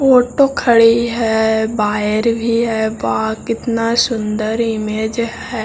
Auto खड़ी है wire भी है वाओ कितना सुंदर इमेज है।